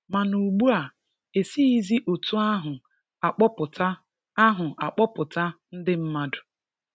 Mana ugbua, e sighizi otu ahụ a kpọpụta ahụ a kpọpụta ndị mmadụ.